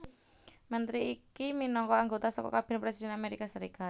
Mentri iki minangka anggota saka Kabinèt Presidhèn Améika Sarékat